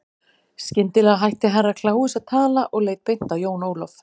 Skyndilega hætti Herra Kláus að tala og leit beint á Jón Ólaf.